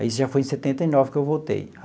Aí já foi em setenta e nove que eu voltei.